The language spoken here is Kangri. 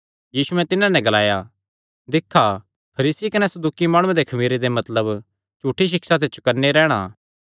यीशुयैं तिन्हां नैं ग्लाया दिक्खा फरीसी कने सदूकी माणुआं दे खमीरे ते मतलब झूठी सिक्षा ते चौकन्ने रैहणा